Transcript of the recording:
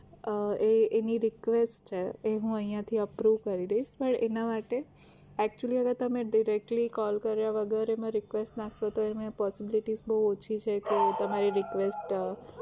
એ એની request છે એ હું અહિયાથી approve કરી દઈશ પણ એના માટે actually હવે તમે directly call કર્યા વગર એમાં request નાખો તો એમાં possibility બવ ઓછી છે કે તમારી request